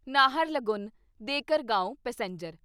Naharlagun Dekargaon passenger